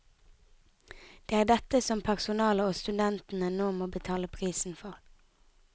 Det er dette som personalet og studentene nå må betale prisen for.